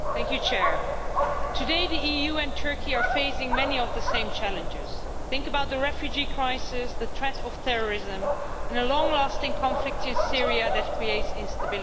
Madam President, today the EU and Turkey are facing many of the same challenges. Think about the refugee crisis, the threat of terrorism, and a long lasting conflict in Syria that creates instability.